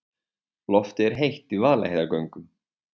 Loftið er heitt í Vaðlaheiðargöngum.